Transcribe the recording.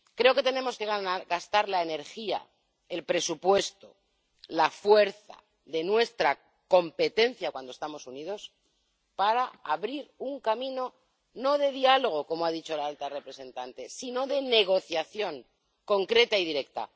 Creo que tenemos que gastar la energía, el presupuesto, la fuerza de nuestra competencia cuando estamos unidos para abrir un camino, no de diálogo —como ha dicho la alta representante— sino de negociación concreta y directa.